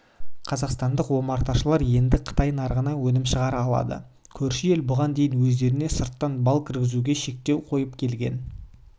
қазақстандық омарташылар енді қытай нарығына өнімін шығара алады көрші ел бұған дейін өздеріне сырттан бал кіргізуге шектеу қойып келген